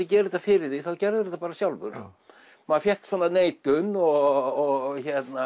gera þetta fyrir þig þá gerðirðu þetta bara sjálfur maður fékk neitun og